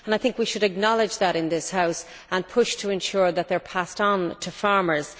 We should acknowledge that in this House and push to ensure that they are passed on to farmers.